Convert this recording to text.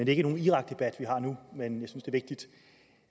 er ikke en irakdebat vi har nu men